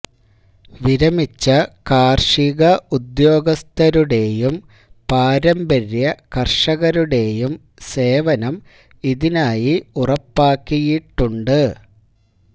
വിരമിച്ച കാര്ഷിക ഉദ്യോഗസ്ഥരുടെയും പാരമ്പര്യ കര്ഷകരുടെയും സേവനം ഇതിനായി ഉറപ്പാക്കിയിട്ടുണ്ട്